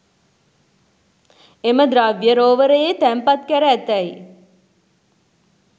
එම ද්‍රව්‍යය රෝවරයේ තැන්පත්කැර ඇතැයි